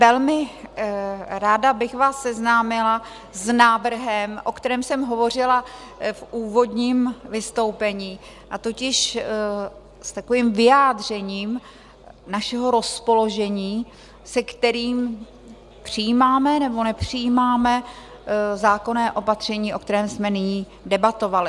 Velmi ráda bych vás seznámila s návrhem, o kterém jsem hovořila v úvodním vystoupení, a totiž s takovým vyjádřením našeho rozpoložení, se kterým přijímáme, nebo nepřijímáme zákonné opatření, o kterém jsme nyní debatovali.